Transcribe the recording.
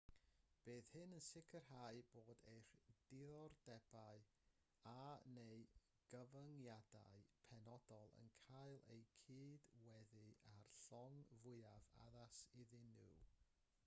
bydd hyn yn sicrhau bod eich diddordebau a/neu gyfyngiadau penodol yn cael eu cydweddu â'r llong fwyaf addas iddyn nhw